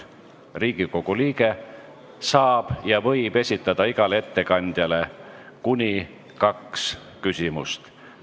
Riigikogu liige saab ja võib esitada igale ettekandjale kuni kaks küsimust.